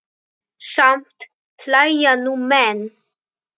Samt hlæja nú menn.